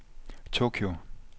Tokyo